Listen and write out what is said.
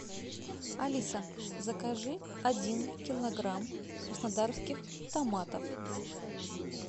алиса закажи один килограмм краснодарских томатов